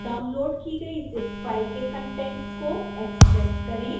download की गई zip file के कंटेंट्स को एक्स्ट्रैक्ट करें